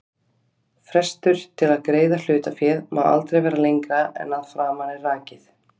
Frestur til að greiða hlutaféð má aldrei vera lengra en að framan er rakið.